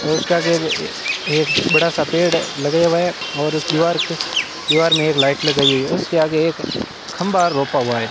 और उसके आगे एक ये बड़ा सा पेड़ लगाया हुआ है और इस दीवार के दीवार में एक लाइट लगाई हुई है उसके आगे एक खंभा रोपा हुआ है।